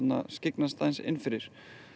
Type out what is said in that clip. skyggnast aðeins inn fyrir